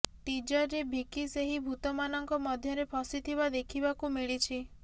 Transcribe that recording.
ଟିଜରରେ ଭିକି ସେହି ଭୂତମାନଙ୍କ ମଧ୍ୟରେ ଫସିଥିବା ଦେଖିବାକୁ ମିଳିଛି